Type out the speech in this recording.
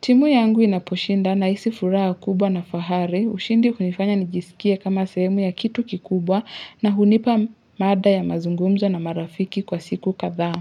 Timu yangu inaposhinda nahisi furaha kubwa na fahari, ushindi hunifanya nijisikie kama sehemu ya kitu kikubwa na hunipa mada ya mazungumzo na marafiki kwa siku kadhaa.